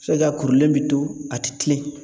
Se ka kɛ a kurulen bi to a ti kilen